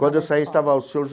Quando eu saí, estava o senhor